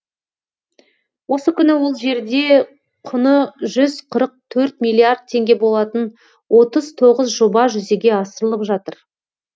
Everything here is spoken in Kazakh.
осы күні ол жерде құны жүз қырық төрт миллиард теңге болатын отыз тоғыз жоба жүзеге асырылып жатыр